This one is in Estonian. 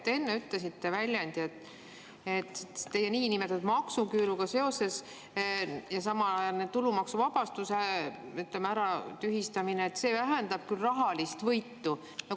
Te enne ütlesite, et teie niinimetatud maksuküüru ja samal ajal tulumaksuvabastuse tühistamine küll vähendab rahalist võitu.